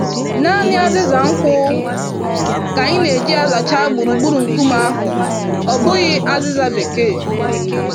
Nanị azịza nkwụ ka anyị n'eji azacha gburugburu nkume ahụ, ọ bụghị azịza bekee